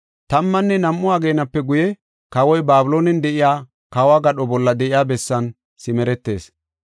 Tammanne nam7u ageenape guye, kawoy Babiloonen de7iya kawo gadho bolla de7iya bessan simeretees.